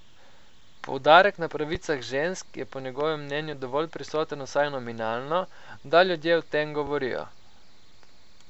Poudarek na pravicah žensk je po njegovem mnenju dovolj prisoten vsaj nominalno, da ljudje o tem govorijo.